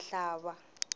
mhlava